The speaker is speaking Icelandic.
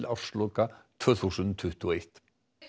ársloka tvö þúsund tuttugu og eitt